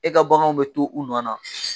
E ka baganw bɛ to u nɔ na